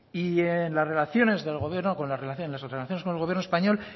y en las relaciones del gobierno con las relaciones o las relaciones con el gobierno español